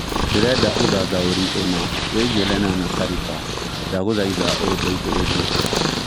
ndĩreda ũthathaũri ũna wĩigie lenana Kariba ndagũthaĩtha ũndeĩthĩrĩrĩe